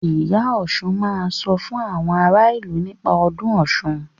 Ìyá Ọsùn máa sọ fún àwọn ara ìlú nípa ọdún Ọ̀ṣun.